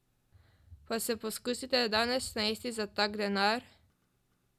Pa se poskusite danes najesti za tak denar!